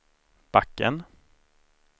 backen